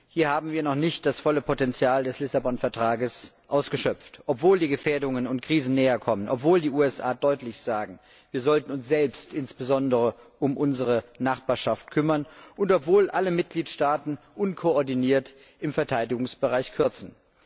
Hier haben wir noch nicht das volle Potenzial des Vertrags von Lissabon ausgeschöpft, obwohl die Gefährdungen und Krisen näherkommen, obwohl die USA deutlich sagen, wir sollten uns selbst insbesondere um unsere Nachbarschaft kümmern, und obwohl alle Mitgliedstaaten unkoordiniert im Verteidigungsbereich kürzen.